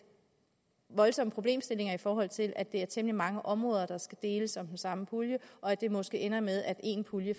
voldsomme problemstillinger i forhold til at det er temmelig mange områder der skal deles om den samme pulje og at det måske ender med at én pulje